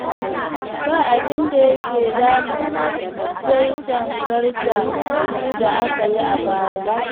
Ba abin da yake damunsu sai sangarta su da aka yi a baya